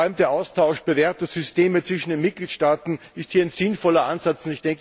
Vor allem der Austausch bewährter Systeme zwischen den Mitgliedstaaten ist hier ein sinnvoller Ansatz.